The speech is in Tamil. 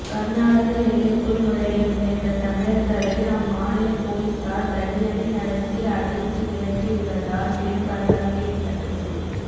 கர்நாடக எல்லைக்குள் நுழைய முயன்ற தமிழர்களை அம்மாநில போலீசார் தடியடி நடத்தி அடித்து விரட்டி உள்ளதால் பெரும் பரபரப்பு ஏற்பட்டுள்ளது